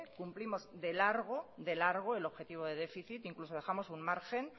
cumplimos de largo de largo el objetivo de déficit incluso dejamos un margen